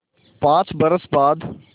पाँच बरस बाद